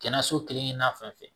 Kɛnɛyaso kelen-kelenna fɛn fɛn